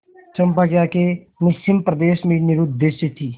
चंपा की आँखें निस्सीम प्रदेश में निरुद्देश्य थीं